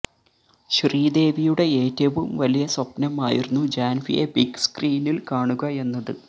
ശ്രീദേവിയുടെ ഏറ്റവും വലിയ സ്വപ്നമായിരുന്നു ജാൻവിയെ ബിഗ് സ്കരീനിൽ കാണുക എന്നത്